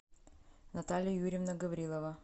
наталья юрьевна гаврилова